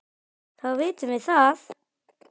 Þá vitum við það!